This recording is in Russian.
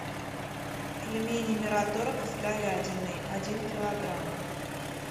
пельмени мираторг с говядиной один килограмм